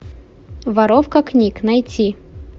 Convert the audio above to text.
воровка книг найти